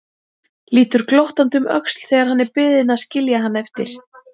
Lítur glottandi um öxl þegar hann er beðinn að skilja hann eftir.